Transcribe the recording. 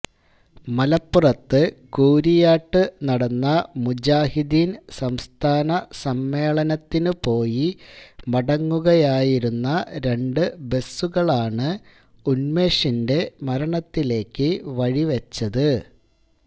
മലപ്പുറത്ത് കൂരിയാട്ട് നടന്ന മുജാഹിദീൻ സംസ്ഥാനസമ്മേളനത്തിനുപോയി മടങ്ങുകയായിരുന്ന രണ്ട് ബസുകളാണ് ഉന്മേഷിന്റെ മരണത്തിലേക്ക് വഴിവെച്ചത്